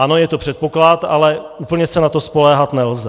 Ano, je to předpoklad, ale úplně se na to spoléhat nelze.